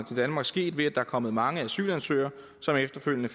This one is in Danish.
til danmark sket ved at der er kommet mange asylansøgere som efterfølgende